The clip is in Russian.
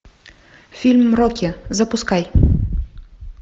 фильм рокки запускай